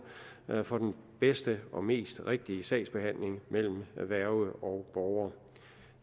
for den bedste og mest rigtige sagsbehandling mellem værge og borger